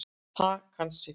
Það kann sig.